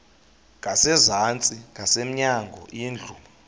ngasezantsi ngasemnyango indlu